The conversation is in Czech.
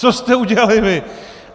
Co jste udělali vy?